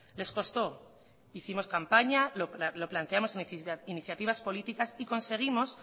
les costó hicimos campaña lo planteamos en iniciativas políticas y conseguimos